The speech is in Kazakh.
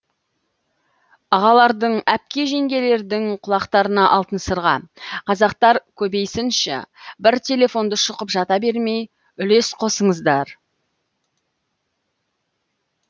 ағалардың әпке жеңгелердің құлақтарына алтын сырға қазақтар көбейсінші бір телефонды шұқып жата бермей үлес қосыңыздар